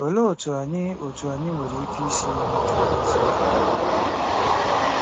Olee otú anyị otú anyị nwere ike isi nweta ngọzi?